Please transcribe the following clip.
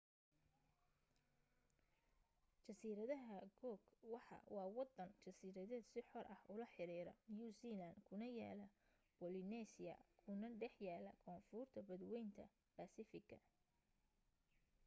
jasiiradaha cook waa waddan jasiiradeed si xor ah ula xiriira new zealand kuna yaalla polynesia kuna dhex yaalla koonfurta badwaynta baasifigga